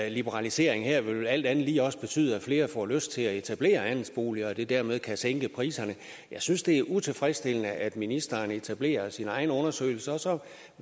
en liberalisering her alt andet lige også vil betyde at flere får lyst til at etablere andelsboliger og at det dermed kan sænke priserne jeg synes det er utilfredsstillende at ministeren etablerer sin egen undersøgelse og så